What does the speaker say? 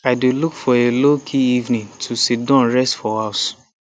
i dey look for a low key evening to sidon rest for house